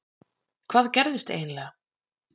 Hvað gerðist eiginlega??